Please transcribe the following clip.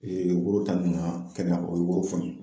woro ta ninnu ma kɛnɛya o yɔrɔ foni .